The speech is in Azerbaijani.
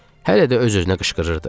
Hələ də öz-özünə qışqırırdı.